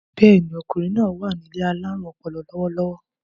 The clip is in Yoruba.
Bẹ́ẹ̀ni, ọkùnrin náài wà ní ilé alárùn ọpọlọ lọ́wọ́lọ́wọ́